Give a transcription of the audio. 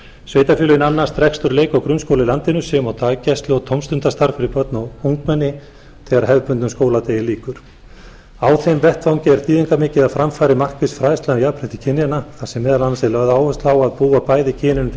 sveitarfélögin annast rekstur leik og grunnskóla í landinu sem og daggæslu og tómstundastarf fyrir börn og ungmenni þegar hefðbundnum skóladegi lýkur á þeim vettvangi er þýðingarmikið að fram fari markviss fræðsla um jafnrétti kynjanna þar sem meðal annars er lögð áhersla á að búa bæði kynin undir